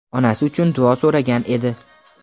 onasi uchun duo so‘ragan edi.